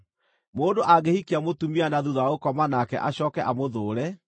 Mũndũ angĩhikia mũtumia na thuutha wa gũkoma nake acooke amũthũũre,